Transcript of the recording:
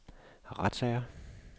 retssager